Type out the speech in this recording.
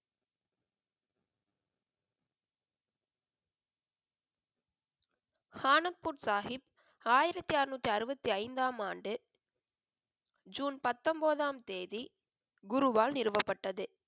ஆனந்த்பூர் சாஹிப் ஆயிரத்தி அறுநூத்தி அறுவத்தி ஐந்தாம் ஆண்டு, ஜூன் பத்தொன்பதாம் தேதி குருவால் நிறுவப்பட்டது.